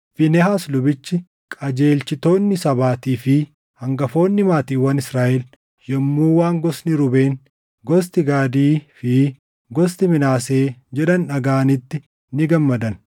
Fiinehaas lubichi, qajeelchitoonni sabaatii fi hangafoonni maatiiwwan Israaʼel yommuu waan gosti Ruubeen, gosti Gaadii fi gosti Minaasee jedhan dhagaʼanitti ni gammadan.